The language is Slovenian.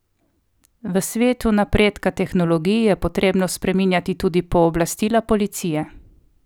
V svetu napredka tehnologij je potrebno spreminjati tudi pooblastila policije.